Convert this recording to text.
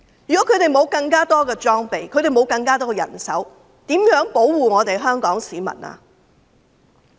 如果他們沒有更多裝備和人手，又如何保護香港市民呢？